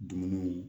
Dumuniw